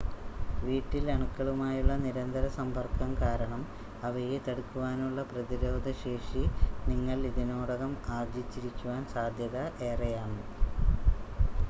വീട്ടിൽ അണുക്കളുമായുള്ള നിരന്തര സമ്പർക്കം കാരണം അവയെ തടുക്കുവാനുള്ള പ്രതിരോധ ശേഷി നിങ്ങൾ ഇതിനോടകം ആർജ്ജിച്ചിരിക്കുവാൻ സാധ്യത ഏറെയാണ്